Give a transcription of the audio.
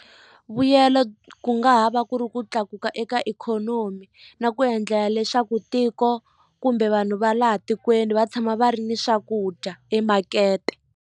Vuyelo ku nga ha va ku ri ku tlakuka eka ikhonomi na ku endlela leswaku tiko kumbe vanhu va laha tikweni va tshama va ri ni swakudya emakete.